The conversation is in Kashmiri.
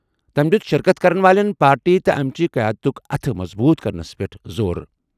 تٔمۍ دِیُت شِرکت کَرن والٮ۪ن پارٹی تہٕ اَمہِ چہِ قیادتٕک اتھہٕ مضبوٗط کرنَس پٮ۪ٹھ زور۔